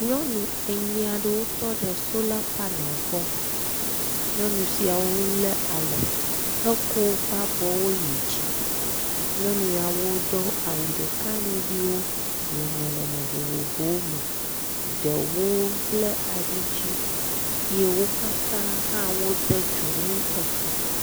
Nyɔnu enyi aɖewo tɔ ɖe sola panel gbɔ, nyɔnu siawo lé alɔ hekɔ woƒe abɔwo yi dzi. Nyɔnu yawo do awu ɖeka ŋugbewo le nɔnɔme vovovowo me, ɖewo bla alidzi ye wo katã hã wode dzonu ekɔ.